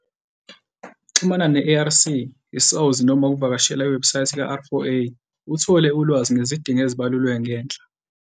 Xhumana ne-ARC, i-SAWS noma uvakashela iwebhusayithi ka-R4A uthole ulwazi ngezidingo ezibalulwe ngenhla.